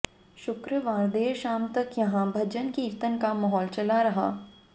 शुक्रवार देर शाम तक यहां भजन कीर्तन का माहौल चला रहा